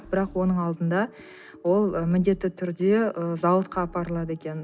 бірақ оның алдында ол ы міндетті түрде ы зауытқа апарылады екен